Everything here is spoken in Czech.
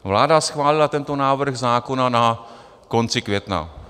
Vláda schválila tento návrh zákona na konci května.